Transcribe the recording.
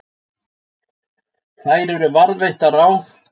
Þær eru varðveittar á